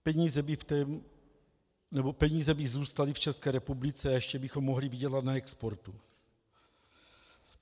Peníze by zůstaly v České republice a ještě bychom mohli vydělat na exportu.